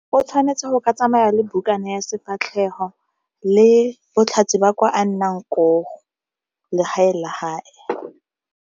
O tshwanetse go ka tsamaya le bukana ya sefatlhego le botlhatsi ba kwa a nnang legae la hae.